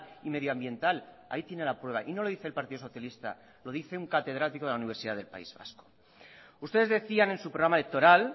y medioambiental ahí tiene la prueba y no lo dice el partido socialista lo dice un catedrático de la universidad del país vasco ustedes decían en su programa electoral